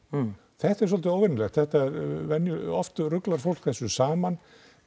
þetta er dálítið óvenjulegt þetta veldur oft ruglar fólk þessu saman